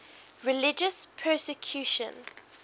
religious persecution